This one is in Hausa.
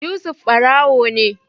Yusuf barawo ne